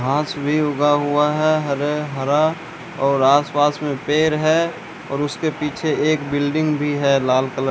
घांस भी उगा हुआ है हरे हरा और आस पास में पेर है और उसके पीछे एक बिल्डिंग भी है लाल कलर --